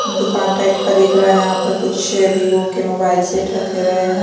दुकान टाइप का दिख रहा है यहाँ पर कुछ विवो के मोबाइल सेट रखे हुए हैं।